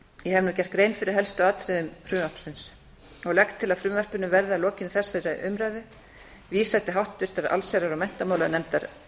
hef nú gert grein fyrir helstu atriðum frumvarpsins og legg til að frumvarpinu verði að lokinni þessari umræðu vísað til háttvirtrar allsherjar og menntamálanefndar